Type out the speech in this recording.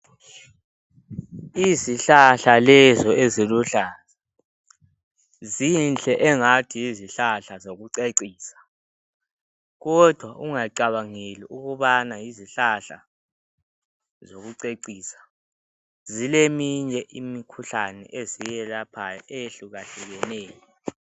Izihlahla lezo eziluhlaza, zinhle engathi yizihlahla zokucecisa kodwa ungacabangeli ukubana yizihlahla zokucecisa. zileminye imikhuhlane eziyelaphayo eyehlukahlukeneyo.